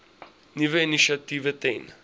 nuwe initiatiewe ten